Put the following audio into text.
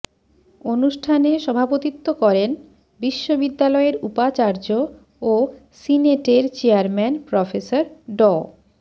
অনুষ্ঠানে সভাপতিত্ব করেন বিশ্ববিদ্যালয়ের উপাচার্য ও সিনেটের চেয়ারম্যান প্রফেসর ড